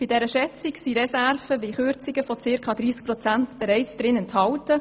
In der Schätzung sind Reserven und Kürzungen von rund 30 Prozent enthalten.